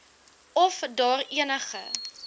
of daar enige